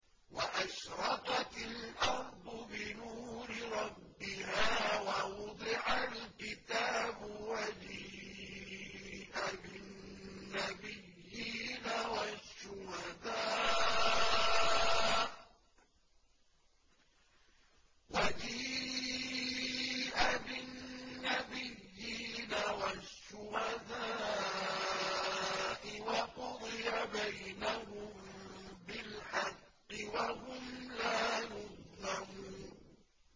وَأَشْرَقَتِ الْأَرْضُ بِنُورِ رَبِّهَا وَوُضِعَ الْكِتَابُ وَجِيءَ بِالنَّبِيِّينَ وَالشُّهَدَاءِ وَقُضِيَ بَيْنَهُم بِالْحَقِّ وَهُمْ لَا يُظْلَمُونَ